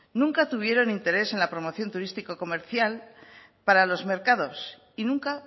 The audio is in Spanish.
nunca tuvieron interés en la promoción turístico comercial para los mercados y nunca